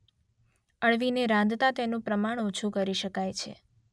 અળવીને રાંધતા તેનું પ્રમાણ ઓછું કરી શકાય છે.